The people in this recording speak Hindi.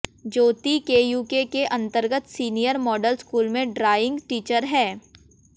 ज्योति केयूके के अंतर्गत सीनियर मॉडल स्कूल में ड्राइंग टीचर है